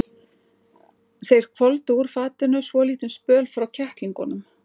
Þeir hvolfdu úr fatinu svolítinn spöl frá kettlingunum.